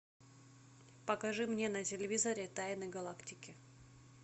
покажи мне на телевизоре тайны галактики